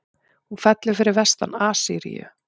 Hún fellur fyrir vestan Assýríu.